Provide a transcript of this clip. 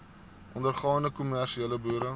ondergaande kommersiële boere